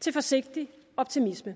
til forsigtig optimisme